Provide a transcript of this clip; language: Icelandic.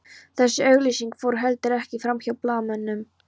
Þessi auglýsing fór heldur ekki framhjá blaðamönnum